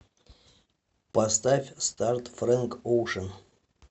поставь старт фрэнк оушен